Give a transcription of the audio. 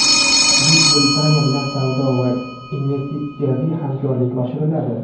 Buyuk Britaniya bilan savdo va investitsiyaviy hamkorlik oshiriladi.